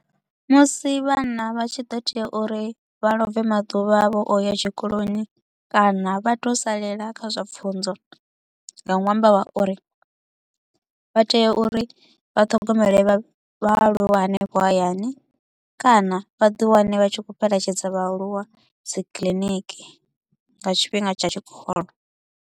Musi vhana vha tshi ḓo tea uri vha love maḓuvha avho a u ya tshikoloni kana vha to u salela kha zwa pfunzo nga nwambo wa uri vha tea uri vhathogomele vhaaluwa hanefho hayani kana vha ḓi wane vha tshi kho u fhelekedza vhaaluwa dzikiḽiniki nga tshifhinga tsha tshikolo.